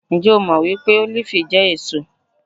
Ǹjẹ́ o jẹ́ mọ́ wípé Ólífì jẹ́ èso?